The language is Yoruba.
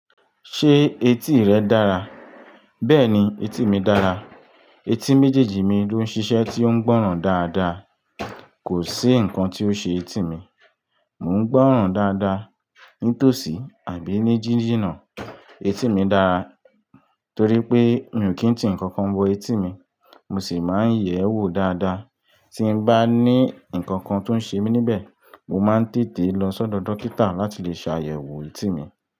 Ṣé etí rẹ dára? Bẹ́ẹ̀ni, etí mi dára. Etí méjèèjì mi ló ń ṣiṣẹ́ tí ó ń gbọ́ràn dáadáa. Kò sí nǹkan tí ó ṣe etí mi. Mò ń gbọ́ràn dáadáa ní tòsí àbí ní jíjìnà. Etí mi dára torí pé mi ò kí ń tì nkankan wọ etí mi. Mo sì máa ń yẹ̀ ẹ́ wò dáadáa. Tí bá ní nkankan tó ń ṣe mí níbẹ̀, mo máa ń tètè lọ sọ́dọ̀ dókítà láti le ṣàyẹ̀wò etí mi.